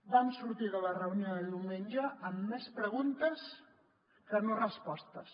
vam sortir de la reunió de diumenge amb més preguntes que no respostes